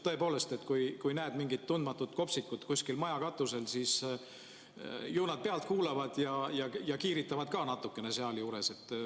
Tõepoolest, kui näed mingit tundmatut kopsikut kuskil majakatusel, siis ju nad pealt kuulavad ja kiiritavad ka natukene sealjuures.